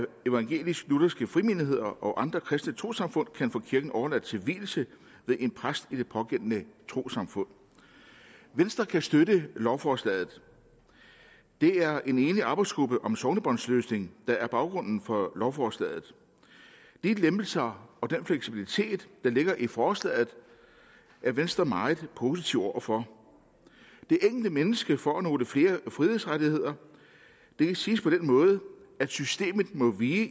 evangelisk lutherske frimenigheder og andre kristne trossamfund kan få kirken overladt til vielse ved en præst i det pågældende trossamfund venstre kan støtte lovforslaget det er i en enig arbejdsgruppe om sognebåndsløsning der er baggrunden for lovforslaget de lempelser og den fleksibilitet der ligger i forslaget er venstre meget positive over for det enkelte menneske får nogle flere frihedsrettigheder det kan siges på den måde at systemet må vige